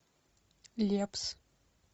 лепс